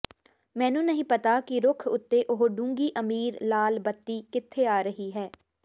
ਮੈਨੂੰ ਨਹੀਂ ਪਤਾ ਕਿ ਰੁੱਖ ਉੱਤੇ ਉਹ ਡੂੰਘੀ ਅਮੀਰ ਲਾਲ ਬੱਤੀ ਕਿੱਥੇ ਆ ਰਹੀ ਹੈ